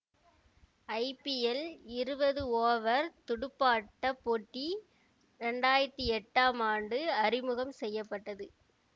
IPL இருபது over துடுப்பாட்ட போட்டி இரண்டு ஆயிரத்தி எட்டாம் ஆண்டு அறிமுகம் செய்ய பட்டது